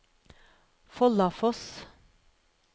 Follafoss